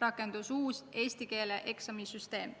rakendus uus eesti keele eksami süsteem.